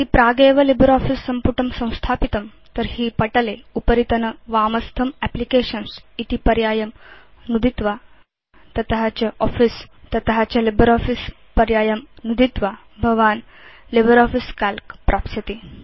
यदि प्रागेव लिब्रियोफिस सम्पुटं संस्थापितं तर्हि पटले उपरितनवामस्थं एप्लिकेशन्स् इति पर्यायं नुदित्वा तत च आफिस तत च लिब्रियोफिस पर्यायं नुदित्वा भवान् लिब्रियोफिस काल्क प्राप्स्यति